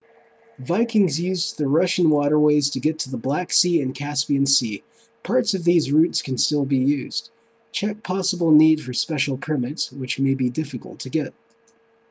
vikings used the russian waterways to get to the black sea and caspian sea parts of these routes can still be used check possible need for special permits which may be difficult to get